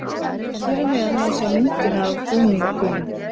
Hér að neðan má sjá myndina af búningunum.